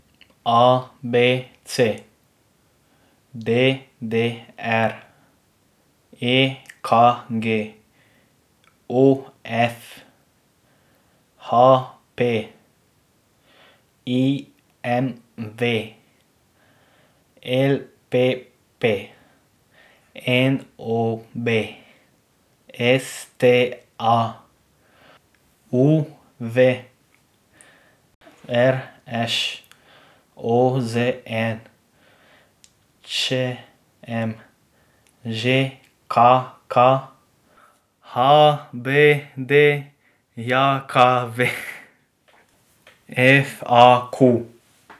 A B C; D D R; E K G; O F; H P; I M V; L P P; N O B; S T A; U V; R Š; O Z N; Č M; Ž K K; H B D J K V; F A Q.